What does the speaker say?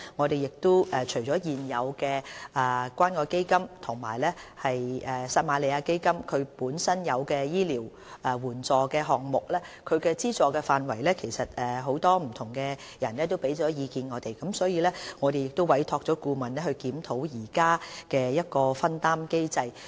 對於現時關愛基金及撒瑪利亞基金醫療援助項目的資助範圍，很多人曾向我們提出意見，我們已委託顧問檢討現時的藥費分擔機制。